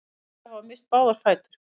Tveir þeirra hafa misst báða fætur